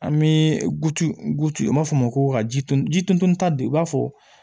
An bɛ gute an b'a fɔ o ma ko ka ji dun ji tunu ta don i b'a fɔ